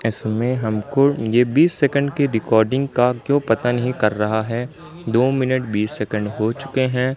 इसमें हमको ये बीस सेकंड की रिकॉर्डिंग का क्यों पता नहीं कर रहा है दो मिनट बीस सेकंड हो चुके हैं।